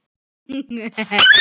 Elska þig, pabbi.